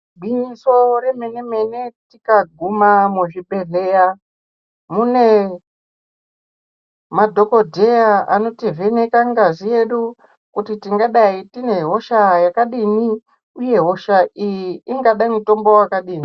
Gwinyiso remene mene tikaguma muzvibhedhlera mune madhokodheya anotivheneka ngazi yedu kuti tingadai tine hosha yakadini uye hosha iyi ingada mutombo wakadini